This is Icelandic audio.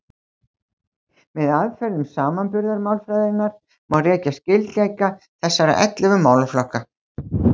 Með aðferðum samanburðarmálfræðinnar má rekja skyldleika þessara ellefu málaflokka.